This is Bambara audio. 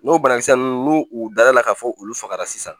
N'o banakisɛ ninnu n'u dara ka fɔ olu fagara sisan